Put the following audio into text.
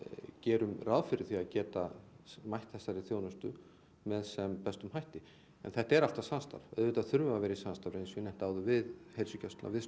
gerum ráð fyrir því að geta mætt þessari þjónustu með sem bestum hætti en þetta er alltaf samstarf auðvitað þurfum við að vera í samstarfi eins og ég hef nefnt áður við heilsugæsluna við